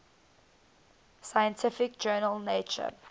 scientific journal nature